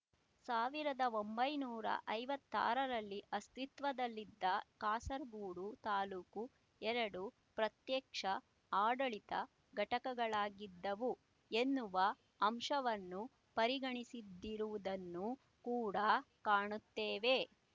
ಸಾವಿರದ ಒಂಬೈನೂರ ಐವತ್ತಾರರಲ್ಲಿ ಅಸ್ತಿತ್ವದಲ್ಲಿದ್ದ ಕಾಸರಗೂಡು ತಾಲ್ಲೂಕು ಎರಡು ಪ್ರತ್ಯಕ್ಷ ಆಡಳಿತ ಘಟಕಗಳಾಗಿದ್ದವು ಎನ್ನುವ ಅಂಶವನ್ನು ಪರಿಗಣಿಸಿದಿರುವುದುನ್ನೂ ಕೂಡಾ ಕಾಣುತ್ತೇವೆ